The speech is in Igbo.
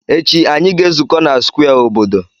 Echi, anyị ga-ezukọ na square obodo.